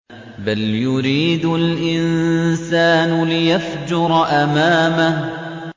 بَلْ يُرِيدُ الْإِنسَانُ لِيَفْجُرَ أَمَامَهُ